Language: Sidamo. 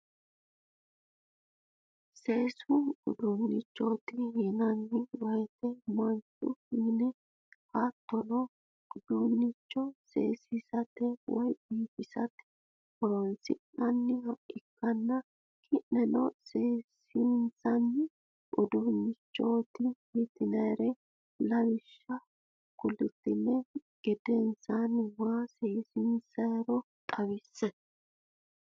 Seesu uduunnicho yinaanni woyte mancho, minne hattono uduunnicho seesisate woy biifisate horonsi'nanniha ikkanna ki'neno seesinsanni uduunnichot yitinnannire lawisha kultinihu gedensanni ma seesinsanniro xawisse?